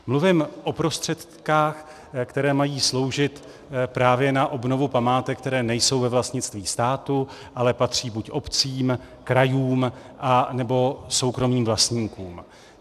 Mluvím o prostředcích, které mají sloužit právě na obnovu památek, které nejsou ve vlastnictví státu, ale patří buď obcím, krajům, anebo soukromým vlastníkům.